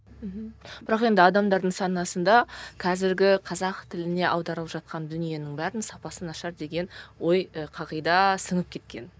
мхм бірақ енді адамдардың санасында қазіргі қазақ тіліне аударылып жатқан дүниенің бәрінің сапасы нашар деген ой ы қағида сіңіп кеткен